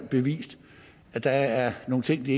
bevist at der er nogle ting de